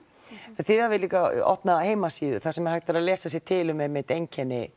þið hafið líka opnað heimasíðu þar sem hægt er að lesa sér til um einmitt einkenni